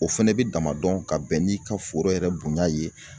O fɛnɛ bi damadɔn ka bɛn n'i ka foro yɛrɛ bonyan ye